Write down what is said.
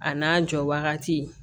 A n'a jɔ wagati